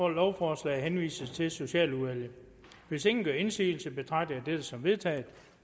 at lovforslaget henvises til socialudvalget hvis ingen gør indsigelse betragter jeg det som vedtaget